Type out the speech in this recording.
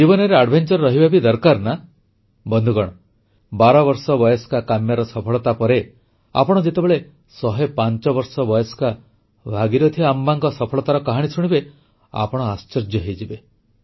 ଜୀବନରେ ଦୁଃସାହସ ରହିବା ବି ଦରକାର ନା ବନ୍ଧୁଗଣ ବାରବର୍ଷ ବୟସ୍କା କାମ୍ୟାର ସଫଳତା ପରେ ଆପଣ ଯେତେବେଳେ ଶହେ ପାଞ୍ଚ ବର୍ଷ ବୟସ୍କା ଭାଗିରଥି ଆମ୍ମାଙ୍କ ସଫଳତାର କାହାଣୀ ଶୁଣିବେ ଆପଣ ଆଶ୍ଚର୍ଯ୍ୟ ହୋଇଯିବେ